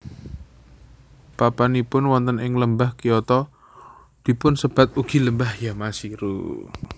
Papanipun wonten ing Lembah Kyoto dipunsebat ugi Lembah Yamashiro